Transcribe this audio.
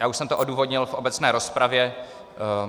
Já už jsem to odůvodnil v obecné rozpravě.